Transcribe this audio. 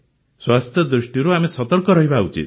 ସ୍ୱାସ୍ଥ୍ୟ ଦୃଷ୍ଟିରୁ ଆମେ ସତର୍କ ରହିବା ଉଚିତ